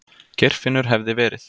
Geirfinnur hefði verið.